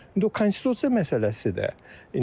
İndi o konstitusiya məsələsidir də.